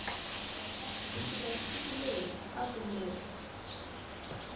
kusukela siku leri a kumeke